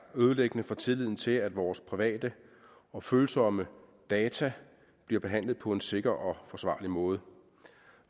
ødelæggende for tilliden til at vores private og følsomme data bliver behandlet på en sikker og forsvarlig måde